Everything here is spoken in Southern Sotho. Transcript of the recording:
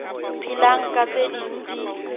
phelang ka tse ding di